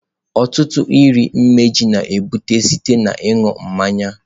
Ọtụtụ ọrịa imeju na-ebute site na ịṅụ mmanya.